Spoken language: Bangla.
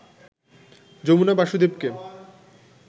যমুনা বাসুদেবকে